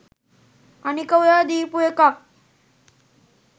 අනික ඔයා දීපු එකක්